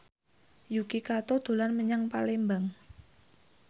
Yuki Kato dolan menyang Palembang